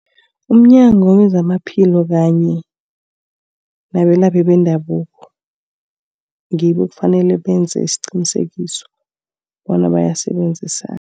Umnyango wezamaphilo kanye nabelaphi bendabuko ngibo ekufanele benze isiqinisekiso bona bayasebenzisa.